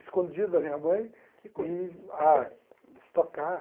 escondido da minha mãe e ah...stock car.